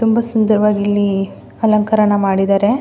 ತುಂಬ ಸುಂದರವಾಗಿ ಇಲ್ಲಿ ಅಲಂಕಾರ ಎಲ್ಲ ಮಾಡಿದ್ದಾರೆ.